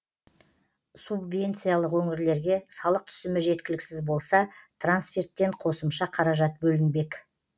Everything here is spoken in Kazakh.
субвенциялық өңірлерге салық түсімі жеткіліксіз болса трансферттен қосымша қаражат бөлінбек